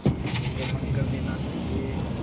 इसको बंद कर देना चाहिए